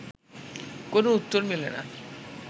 কোনো উত্তর মেলে না